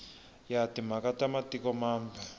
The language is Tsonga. ya timhaka ta matiko mambe